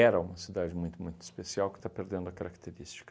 uma cidade muito, muito especial que está perdendo a característica.